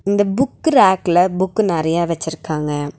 இந்த புக்கு ரேக்ல புக்கு நெறைய வச்சிருக்காங்க.